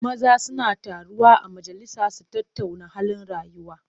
Maza suna taruwa a majalisa su tattauna halin rayuwa.